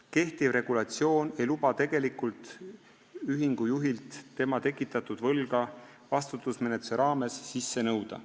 Kehtiv seadus ei luba ühingu tegelikult juhilt tema tekitatud võlga vastutusmenetluse raames sisse nõuda.